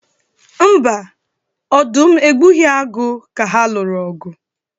Mba, ọdụm egbughi agụ ka ha lụrụ ọgụ.